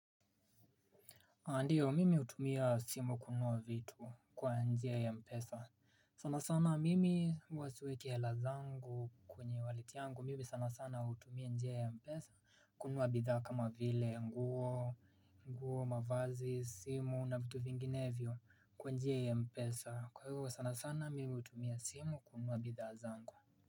Ndiyo, mimi hutumia simu kununua vitu kwa njia ya M-Pesa. Sana sana mimi huwa siweki hela zangu kwenye wallet yangu, mimi sana sana hutumia njia ya M-Pesa kununua bidhaa kama vile nguo, nguo, mavazi, simu na vitu vinginevyo kwa njia ya M-Pesa. Kwa hivyo sana sana mimi hutumia simu kununua bidha zangu.